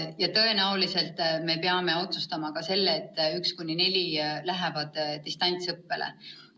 Ja tõenäoliselt me peame otsustama ka selle, et 1.–4. klass lähevad distantsõppele.